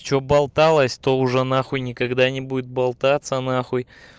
что болталось то уже нахуй никогда не будет болтаться нахуй